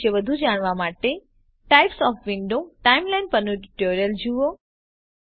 ટાઇમલાઇનના વિશે વધુ જાણવા માટે ટાઇપ્સ ઓએફ વિન્ડોઝ ટાઇમલાઇનના પરનું ટ્યુટોરીયલ જુઓ